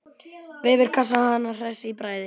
Veifar henni hress í bragði.